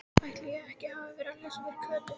Ætli ég hafi ekki verið að lesa fyrir Kötu.